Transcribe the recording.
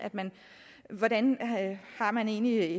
hvordan man egentlig